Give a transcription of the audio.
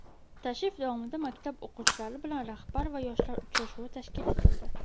Tashrif davomida maktab o‘quvchilari bilan "Rahbar va yoshlar uchrashuvi" tashkil etildi.